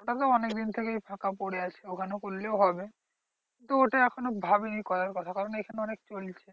ওখানেও অনেকদিন থেকে ফাঁকা পরে আছে ওখানেও করলেও হবে। তো ওটা এখনো ভাবিনি করার কথা কারণ এইখানে অনেক চলছে।